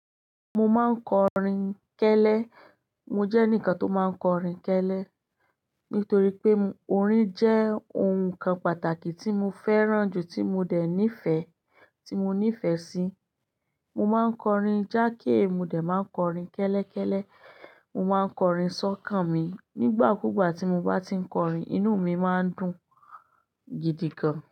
Mo máa ń kọrin kẹ́lẹ́. Mo jẹ́ eǹikan tó máa ń kọrin kẹ́lẹ́ nítorí pé orin jẹ́ ohun kan pàtàkì tí mo fẹ́ràn jù, tí mo dè ní ìfẹ́, tí mo ní ìfẹ́ sí. Mo má ń kọrin jáake, mo dà má ń kọrin kẹ́lẹ́kẹ́lẹ́, mo má ń kọrin sọ́kàn mi. Nígbà kúgbà tí mo bá ti ń kọrin, inú mi má ń dùn gidi gan.